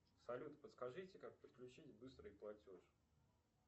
салют подскажите как подключить быстрый платеж